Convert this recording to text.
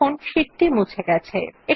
দেখুন শীট টি মুছে গেছে